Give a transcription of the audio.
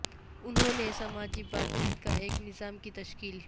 انہوں نے سماجی بات چیت کا ایک نظام کی تشکیل